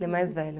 Ele é mais velho.